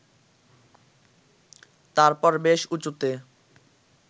তারপর বেশ উঁচুতে